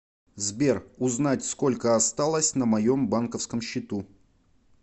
сбер узнать сколько осталось на моем банковском счету